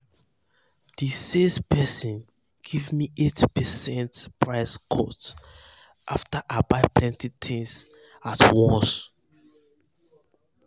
the sales person give me 8 percent price cut after i buy plenty things at once.